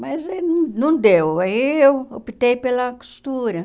Mas aí não não deu, aí eu optei pela costura.